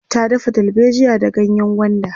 ta dafa dalbejiya da ganyengwanda